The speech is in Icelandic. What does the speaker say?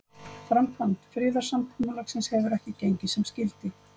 Framkvæmd friðarsamkomulagsins hefur ekki gengið sem skyldi.